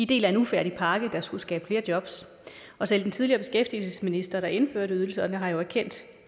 del af en ufærdig pakke der skulle skabe flere jobs og selv den tidligere beskæftigelsesminister der indførte ydelserne har jo erkendt